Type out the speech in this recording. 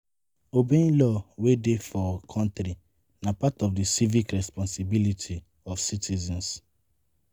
Obeying law wey dey for country na part of di civic responsibility of citizens